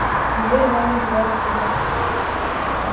дверь в ванную была открыта